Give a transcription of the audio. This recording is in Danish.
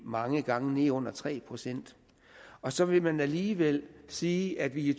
mange gange nede under tre procent og så vil man alligevel sige at vi i